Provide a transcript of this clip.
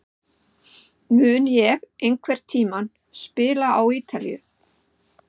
Mun ég einhvern tíma spila á Ítalíu?